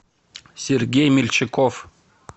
сергей мельчаков